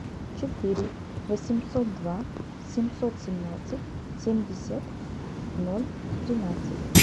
четыре восемьсот два семьсот семнадцать семьдесят ноль тринадцать